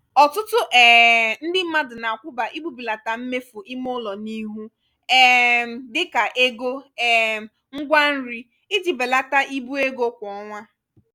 ọtụtụ um ndị mmadụ na-akwuba igbubilata mmefu imeulo n'ihu um dịka ego um ngwá nri iji belata ibu ego kwa ọnwa.